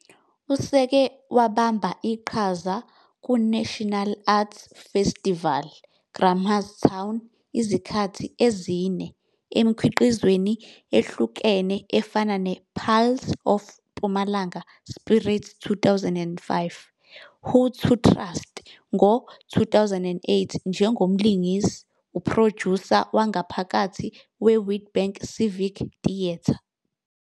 Useke wabamba iqhaza kuNational Arts Festival Grahamstown izikhathi ezine emikhiqizweni ehlukene efana ne-'Pulse of Mpumalanga Spirit 2005,' 'Who to Trust' ngo-2008 njengomlingisi, uphrojusa wangaphakathi weWitbank Civic Theatre.